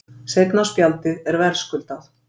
Seinna spjaldið er verðskuldað.